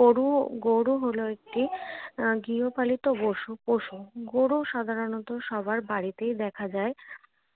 গরু গরু হল একটি আহ গৃহপালিত পশু পশু গরু সাধারণত সবার বাড়িতেই দেখা যায়।